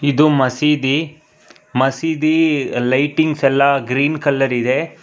ಇದು ಮಸೀದಿ ಮಸೀದಿ ಲೈಟಿಂಗ್ಸ್ ಎಲ್ಲ ಗ್ರೀನ್ ಕಲರ್ ಇದೆ.